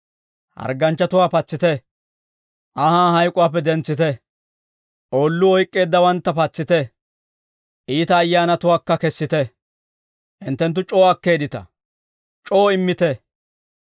Hargganchchatuwaa patsite; anhaa hayk'uwaappe dentsite; oolluu oyk'k'eeddawantta patsite; iita ayyaanatuwaakka kessite. Hinttenttu c'oo akkeeddita; c'oo immite.